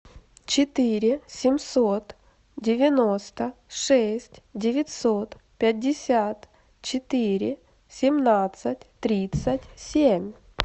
четыре семьсот девяносто шесть девятьсот пятьдесят четыре семнадцать тридцать семь